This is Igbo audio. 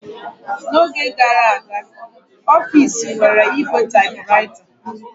N'oge gara aga, ọfis nwere ígwè typewriter.